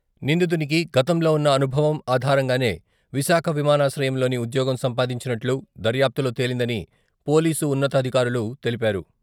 నిందితునికి గతంలో ఉన్న అనుభవం ఆధారంగానే విశాఖ విమానాశ్రయంలోని ఉద్యోగం సంపాదించినట్లు దర్యాప్తులో తేలిందని పోలీసు ఉన్నతాధికారులు తెలిపారు.